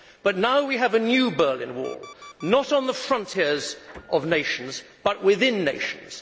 But now we have a new Berlin Wall, not on the frontiers of nations but within nations.